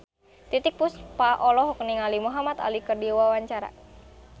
Titiek Puspa olohok ningali Muhamad Ali keur diwawancara